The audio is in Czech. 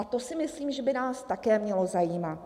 A to si myslím, že by nás také mělo zajímat.